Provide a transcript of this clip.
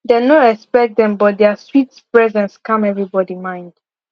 dem no expect dem but dia sweet presence calm everybody mind